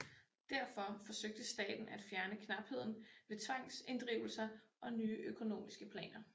Derfor forsøgte staten at fjerne knapheden ved tvangsinddrivelser og nye økonomiske planer